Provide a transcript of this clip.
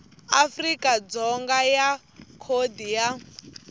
afrika dzonga ya khodi ya